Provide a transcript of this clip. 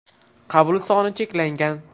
Qabul soni cheklangan!